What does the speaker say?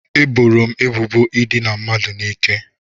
Eboro m ebubo ịdina mmadụ n'ike